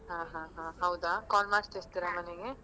ಹ ಹ ಹಾ ಹೌದಾ call ಮಾಡ್ತಿರ್ತೀರಾ ಮನೆಗೆ.